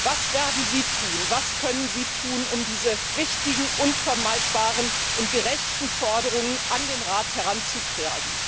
Was werden Sie tun, was können Sie tun, um diese wichtigen, unvermeidbaren und gerechten Forderungen an den Rat heranzutragen?